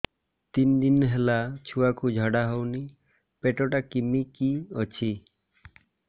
ତିନି ଦିନ ହେଲା ଛୁଆକୁ ଝାଡ଼ା ହଉନି ପେଟ ଟା କିମି କି ଅଛି